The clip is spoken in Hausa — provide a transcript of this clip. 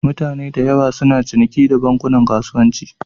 Mutane da yawa suna ciniki da bankunan kasuwanci.